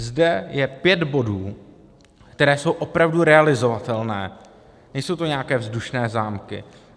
Zde je pět bodů, které jsou opravdu realizovatelné, nejsou to nějaké vzdušné zámky.